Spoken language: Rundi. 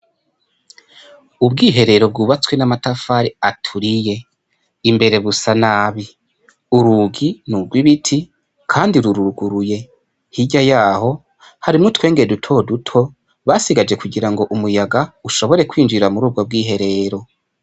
ubwiherero bwubatswe n'amatafari aturiye imbere busa nabi urugi nurwo ibiti hirya yaho harimwo utwenge duto duto basigaje kugirango umuyaga ushobore kwinjira mu rubwo bw'iherero.